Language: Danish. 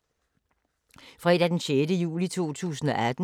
Fredag d. 6. juli 2018